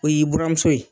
O y'i buramuso ye